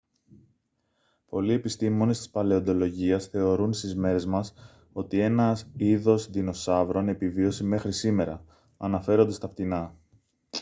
πολλοί επιστήμονες της παλαιοντολογίας θεωρούν στις μέρες μας ότι ένα είδος δεινοσαύρων επιβίωσε μέχρι σήμερα αναφέρονται στα πτηνά